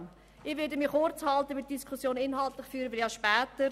Ich halte mich kurz, denn inhaltlich führen wir die Diskussionen ja später.